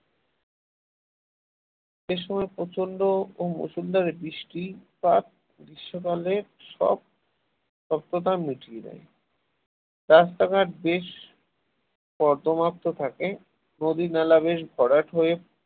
সে সময় প্রচন্ড মুষলধারে বৃষ্টিপাত গ্রীষ্মকালের সব মিটিয়ে দেয় রাস্তাঘাট বেশ কর্দমাক্ত থাকে নদী-নালা বেশ ভরাট হয়ে